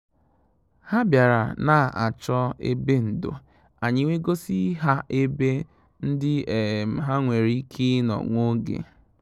Hà bìàrà n’á chọ́ ébè ndò, ànyị́ wèé gọ́sí hà ébè ndị́ um hà nwéré íké ì nọ́ nwá ògè.